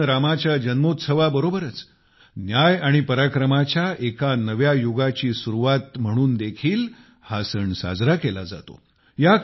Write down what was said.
भगवान रामाच्या जन्मोत्सवाबरोबरच न्याय आणि पराक्रमाच्या एका नव्या युगाची सुरुवात म्हणून देखील साजरा केला जातो